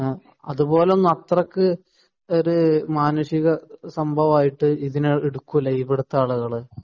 അതുപോലെ അത്രക്ക് മാനുഷികമായിട്ടൊന്നും ഇതിനെ എടുക്കൂല ഇവിടുത്തെ ആളുകൾ